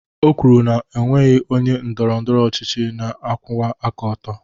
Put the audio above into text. O kwuru na o nweghị onye ndọrọ ndọrọ ọchịchị na-akwụwa aka ọtọ